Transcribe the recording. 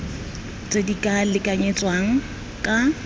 tse di ka lekanyetswang ka